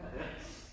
Ja